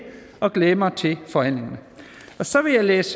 og glæde mig til forhandlingerne så vil jeg læse